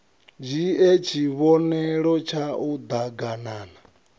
dzhie tshivhonelo tshau d aganana